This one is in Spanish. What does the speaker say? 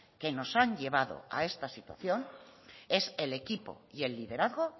que nos han llevado a esta situación es el equipo y el liderazgo